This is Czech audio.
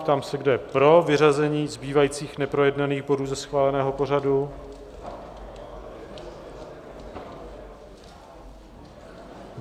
Ptám se, kdo je pro vyřazení zbývajících neprojednaných bodů ze schváleného pořadu?